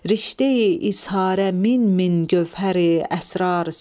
rişteyi izharə min-min gövhəri əsrar söz.